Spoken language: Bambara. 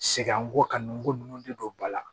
Sɛgɛn an ko ka nun ko nun de don ba la